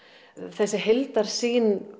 þessi heildarsýn